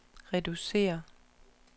reducere